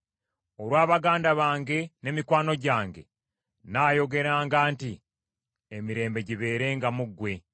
Olwa baganda bange ne mikwano gyange nnaayogeranga nti, “Emirembe gibeerenga mu ggwe.”